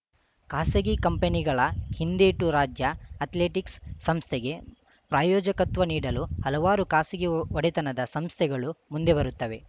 ಖಾಸಗಿ ಕಂಪನಿಗಳ ಹಿಂದೇಟು ರಾಜ್ಯ ಅಥ್ಲೆಟಿಕ್ಸ್‌ ಸಂಸ್ಥೆಗೆ ಪ್ರಾಯೋಜಕತ್ವ ನೀಡಲು ಹಲವಾರು ಖಾಸಗಿ ಒಡೆತನದ ಸಂಸ್ಥೆಗಳು ಮುಂದೆ ಬರುತ್ತವೆ